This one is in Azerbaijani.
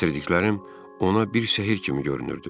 Gətirdiklərim ona bir sehr kimi görünürdü.